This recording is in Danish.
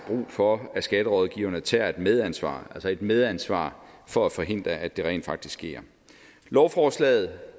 for at skatterådgiverne tager et medansvar altså et medansvar for at forhindre at det rent faktisk sker lovforslaget